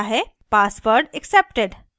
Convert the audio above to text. password accepted